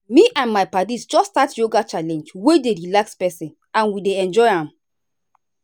me and my paddies just start yoga challenge wey dey relax person and we dey enjoy am.